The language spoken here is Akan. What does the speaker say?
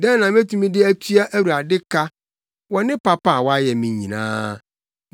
Dɛn na metumi de atua Awurade ka wɔ ne papa a wayɛ me nyinaa?